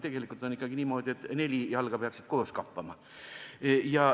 Tegelikult on ikka niimoodi, et neli jalga peaksid korraga kappama.